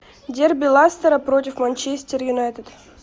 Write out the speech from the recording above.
дерби лестера против манчестер юнайтед